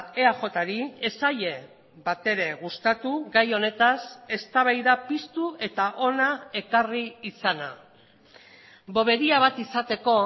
eajri ez zaie batere gustatu gai honetaz eztabaida piztu eta hona ekarri izana boberia bat izateko